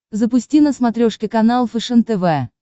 запусти на смотрешке канал фэшен тв